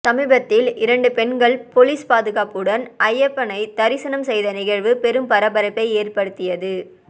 சமீபத்தில் இரண்டு பெண்கள் பொலிஸ் பாதுகாப்புடன் ஐயப்பனை தரிசனம் செய்த நிகழ்வு பெரும் பரபரப்பை ஏற்படுத்தியது